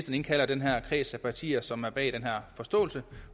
indkalder den her kreds af partier som er bag den her forståelse